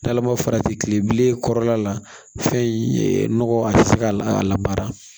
N'ala ma farati kile bilen kɔrɔla la fɛn in nɔgɔ a tɛ se ka a labaara